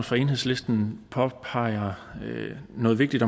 fra enhedslisten påpeger noget vigtigt